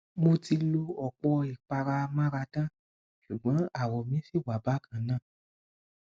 mo ti lo ọpọ ìpara amáradán ṣùgbọn àwọ mi ṣì wà bákan náà